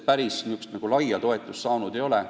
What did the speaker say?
Päris laia toetust sel ei ole.